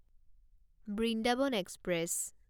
Vrindavan express